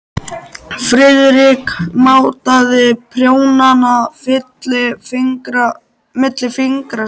Friðrik mátaði prjónana milli fingra sér.